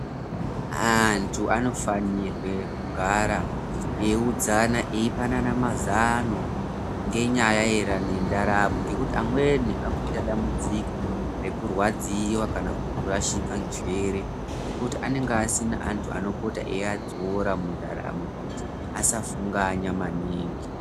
Antu anofanirwe kugara eiudzana eipanana mazano ngenyaya yendaramo ngekuti amweni akuita dambudziko rekurwadziwa kana kurashika njere ngekuti anenge asina antu anopota eiadzora mundaramo kuti asafunganya maningi.